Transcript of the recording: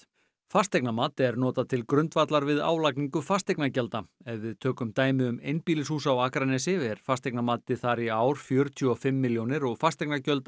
fasteignamat er notað til grundvallar við álagningu fasteignagjalda ef við tökum dæmi um einbýlishús á Akranesi er fasteignamatið þar í ár fjörutíu og fimm milljónir og fasteignagjöld